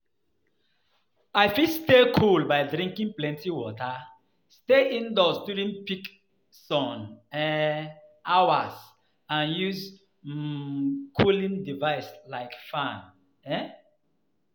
I fit stay cool by drinking plenty water, stay indoors during peak sun um hours and use um cooling device like fan um.